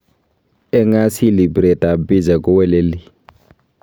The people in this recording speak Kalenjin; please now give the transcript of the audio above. "Eng asili piret ab picha ko weleli."